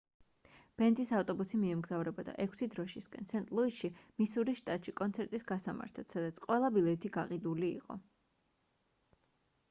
ბენდის ავტობუსი მიემგზავრებოდა ექვსი დროშისკენ სენტ-ლუისში მისურის შტატში კონცერტის გასამართად სადაც ყველა ბილეთი გაყიდული იყო